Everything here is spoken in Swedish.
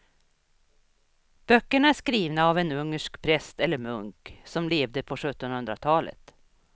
Böckerna är skrivna av en ungersk präst eller munk som levde på sjuttonhundratalet.